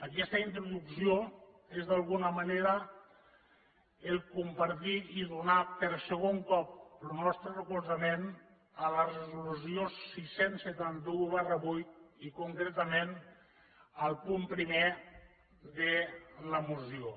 aquesta introducció és d’alguna manera compartir i donar per segon cop lo nostre recolzament a la resolució sis cents i setanta un viii i concretament al punt primer de la moció